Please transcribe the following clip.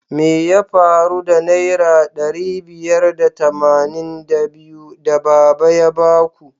Me ya faru da naira ɗari biyar da tamanin da biyu da baba ya baku?